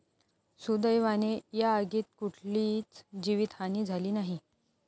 सुदैवाने या आगीत कुठलीच जीवीतहानी झाली नाही.